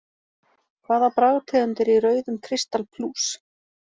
Hvaða bragðtegund er í rauðum kristal plús?